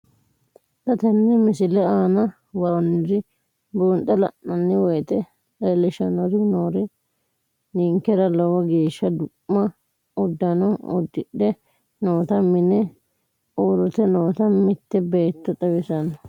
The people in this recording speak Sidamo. Xa tenne missile aana worroonniri buunxe la'nanni woyiite leellishshanni noori ninkera lowo geeshsha du'ma uddano uddidhe noota mine uurrite noota mitte beetto xawissanno.